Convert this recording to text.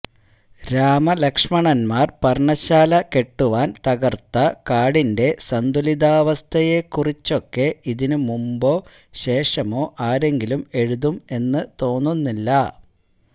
രാമലക്ഷ്മണന്മാര് പര്ണശാല കെട്ടുവാന് തകര്ത്ത കാടിന്റെ സന്തുലിതാവസ്ഥയെക്കുറിച്ചൊക്കെ ഇതിനു മുമ്പോ ശേഷമോ ആരെങ്കിലും എഴുതും എന്ന് തോന്നുന്നില്ല